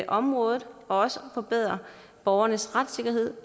området og også forbedre borgernes retssikkerhed